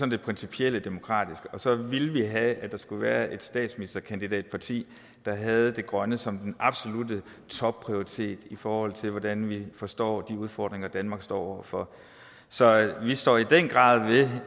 det principielle demokratiske og så ville vi have at der skulle være et statsministerkandidatparti der havde det grønne som den absolutte topprioritet i forhold til hvordan vi forstår de udfordringer danmark står over for så vi står i den grad